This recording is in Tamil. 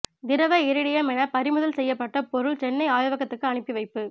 திரவ இரிடியம் என பறிமுதல் செய்யப்பட்ட பொருள் சென்னை ஆய்வகத்துக்கு அனுப்பி வைப்பு